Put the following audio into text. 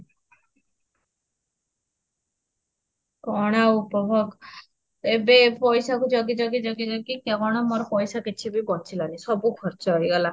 କଁ ଆଉ ହବ, ଏବେ ପଇସା କୁ ଜଗି ଜଗି ଜଗି ଜଗି କେବେଳ ମୋର ପଇସା କିଛି ବି ବଞ୍ଚିଲା ନାହିଁ ସବୁ ଖର୍ଚ୍ଚ ହେଇଗଲା